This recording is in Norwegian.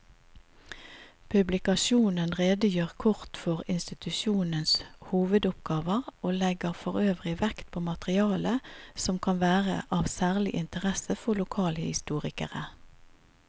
Publikasjonen redegjør kort for institusjonenes hovedoppgaver og legger forøvrig vekt på materiale som kan være av særlig interesse for lokalhistorikere.